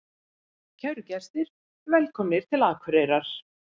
Kæru gestir! Velkomnir til Akureyrar.